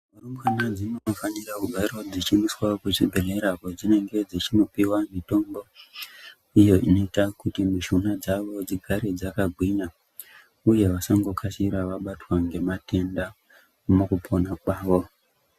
Rumbwana dzinofanirao kugara dzichiendeswao kuzvibhedhleya kwadzinonga dzichipuwawo mitombo uyo unoita kuti mishuna dzaobdzigare dzakagwinya uye vasangokasira vabatwa ngematenda mukupona kwavo.